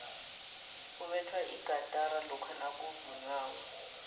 kubethwa igatara lokha nakuvunywako